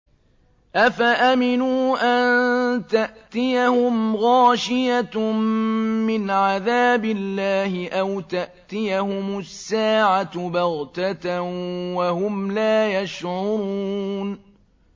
أَفَأَمِنُوا أَن تَأْتِيَهُمْ غَاشِيَةٌ مِّنْ عَذَابِ اللَّهِ أَوْ تَأْتِيَهُمُ السَّاعَةُ بَغْتَةً وَهُمْ لَا يَشْعُرُونَ